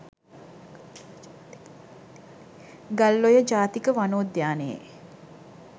ගල්ඔය ජාතික වනෝද්‍යානයේ